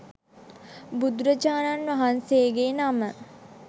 බුදුරජාණන් වහන්සේගේ නම